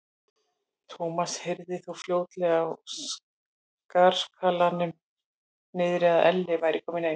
Thomas heyrði þó fljótlega á skarkalanum niðri að Ella væri komin heim.